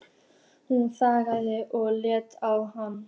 Hún þagnaði og leit á hann.